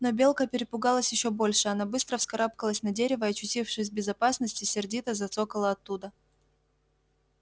но белка перепугалась ещё больше она быстро вскарабкалась на дерево и очутившись в безопасности сердито зацокала оттуда